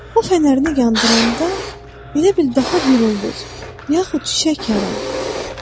O fənərini yandıranda elə bil daha bir ulduz yaxud çiçək yaranır.